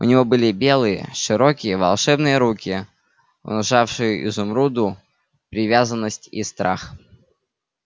у него были белые широкие волшебные руки внушавшие изумруду привязанность и страх